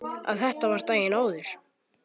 Að þetta var daginn áður.